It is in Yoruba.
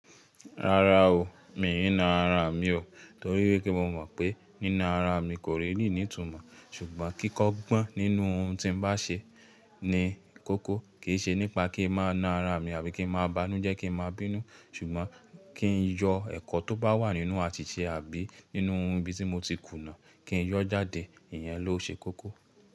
Rárá o, mi ń na ara mi o torí wípé mo mọ̀ pé nína ara mi kò really ní itùmọ́ ṣùgbọ́n kíkọ́gbọ́n nínú ohun tí n bá ṣe ni kókó, kìí ṣe nípa kí n máa na ara mi àbí kí n máa bánújẹ́ kí n máa bínú ṣùgbọ́n kí n yọ ẹ̀kọ́ tó bá wà nínú àsìṣe àbí nínú ohun bí tí mo ti kùnà, kí n yọ́ jáde, ìyẹn ló ṣe kókó.